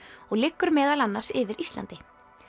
og liggur meðal annars yfir Íslandi